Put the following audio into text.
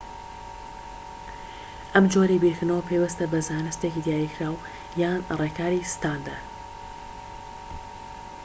ئەم جۆرەی بیرکردنەوە پەیوەستە بە زانستێکی دیاریکراو یان ڕێکاری ستاندەر